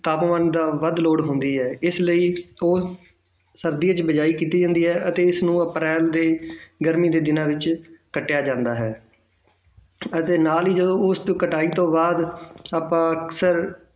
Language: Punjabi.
ਤਾਪਮਾਨ ਦਾ ਵੱਧ ਲੋੜ ਹੁੰਦੀ ਹੈ ਇਸ ਲਈ ਤਾਂ ਸਰਦੀਆਂ ਵਿੱਚ ਬੀਜਾਈ ਕੀਤੀ ਜਾਂਦੀ ਹੈ ਅਤੇ ਇਸਨੂੰ ਅਪ੍ਰੈਲ ਦੇ ਗਰਮੀ ਦੇ ਦਿਨਾਂ ਵਿੱਚ ਕੱਟਿਆ ਜਾਂਦਾ ਹੈ ਅਤੇ ਨਾਲ ਹੀ ਜਦੋਂ ਉਸ ਕਟਾਈ ਤੋਂ ਬਾਅਦ ਆਪਾਂ ਅਕਸਰ